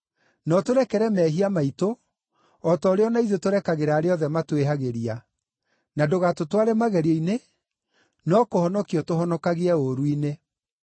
Na ũtũrekere mehia maitũ, o ta ũrĩa o na ithuĩ tũrekagĩra arĩa othe matwĩhagĩria. Na ndũgatũtware magerio-inĩ (no kũhonokia ũtũhonokagie ũũru-inĩ).’ ”